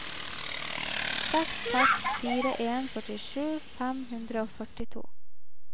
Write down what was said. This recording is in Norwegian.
seks seks fire en førtisju fem hundre og førtito